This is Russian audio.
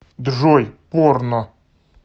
джой порно